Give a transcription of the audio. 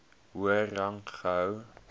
hoër rang gehou